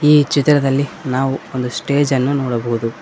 ಈ ಚಿತ್ರದಲ್ಲಿ ನಾವು ಒಂದು ಸ್ಟೇಜ್ ಅನ್ನು ನೋಡಬಹುದು.